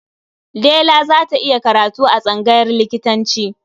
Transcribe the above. Dela za ta yi karatu a tsangayar likitanci.